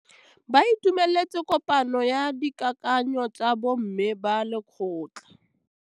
Ba itumeletse kôpanyo ya dikakanyô tsa bo mme ba lekgotla.